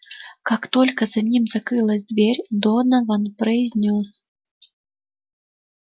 как только за ним закрылась дверь донован произнёс